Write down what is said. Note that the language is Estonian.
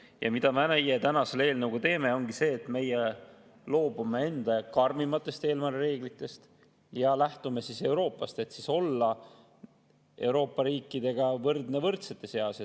Ja mida me täna selle eelnõuga teeme, ongi see, et meie loobume enda karmimatest reeglitest ja lähtume Euroopast, et olla Euroopa riikidega võrdne võrdsete seas.